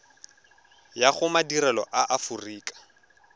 ya go madirelo a aforika